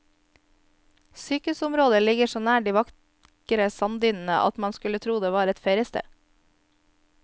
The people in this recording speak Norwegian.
Sykehusområdet ligger så nær de vakre sanddynene at man skulle tro det var et feriested.